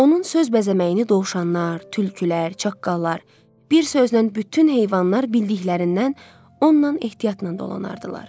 Onun söz bəzəməyini dovşanlar, tülkülər, çaqqallar, bir sözlə bütün heyvanlar bildiklərindən ondan ehtiyatnan dolanardılar.